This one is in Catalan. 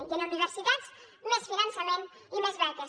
i en universitats més finançament i més beques